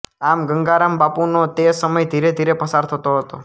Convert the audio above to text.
આમ ગંગારામબાપુનૉ તે સમય ધીરે ધીરે પસાર થતૉ હતૉ